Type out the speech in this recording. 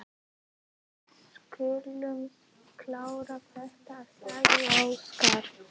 Við skulum klára þetta, sagði Óskar.